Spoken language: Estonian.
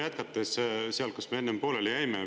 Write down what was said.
Jätkates sealt, kus me enne pooleli jäime.